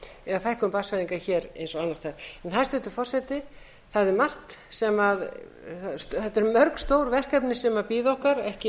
af fækkun barnsfæðinga hér og annars staðar hæstvirtur forseti þetta eru mörg stór verkefni sem bíða okkar ekki